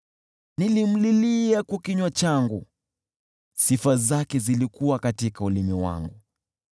Nilimlilia kwa kinywa changu, sifa zake zilikuwa katika ulimi wangu.